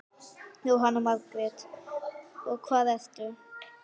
Jóhanna Margrét: Og hvað ertu?